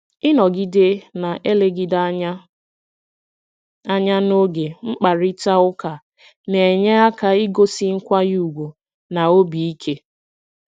Ịnọgide na-elegide anya anya n'oge mkparịta ụka na-enye aka igosi nkwanye ùgwù na obi ike.